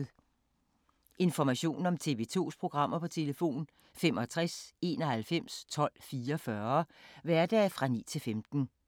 Information om TV 2's programmer: 65 91 12 44, hverdage 9-15.